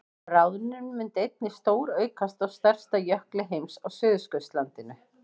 bráðnun myndi einnig stóraukast á stærsta jökli heims á suðurskautslandinu